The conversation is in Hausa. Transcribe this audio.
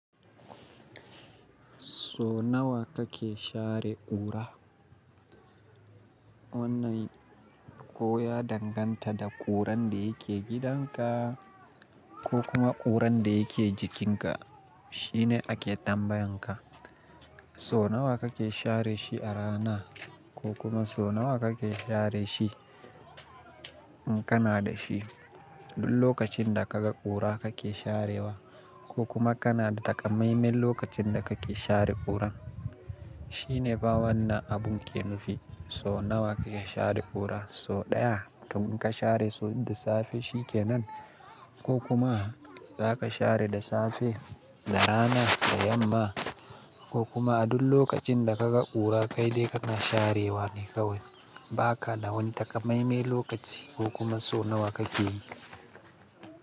So nawa kake share ƙura? Wannan ko ya danganta da ƙuran da yake gidanka ko kuma ƙuran da yake jikinka, shine ake tambayan ka. So nawa kake share shi a rana ko kuma so nawa kake share shi in kana da shi? Duk lokacin da ka ga ƙura kake sharewa ko kuma kana da takamaime lokacin da kake share ƙuran. Shine ba wannan abun ke nufi so nawa kake share ƙura, so ɗaya tun ka share so da safe shi ke nan ko kuma za ka share da safe, da rana, da yamma ko kuma a duk lokacin da ka ga ƙura kai dai kana sharewa ne kawai. Ba ka da wani takamaime lokaci ko kuma so nawa kake yi.